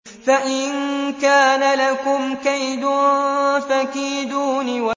فَإِن كَانَ لَكُمْ كَيْدٌ فَكِيدُونِ